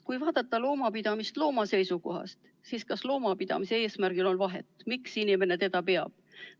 Kui vaadata loomapidamist looma seisukohast, siis kas loomapidamise eesmärgil on vahet, miks inimene loomi peab?